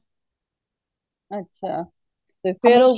ਅੱਛਾ ਤੇ ਫੇਰ